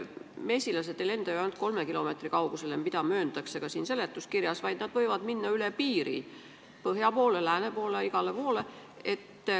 Mesilased ei lenda ju ainult kolme kilomeetri kaugusele, mida mööndakse seletuskirjas, vaid nad võivad minna ka üle piiri, põhja poole, lääne poole, igale poole.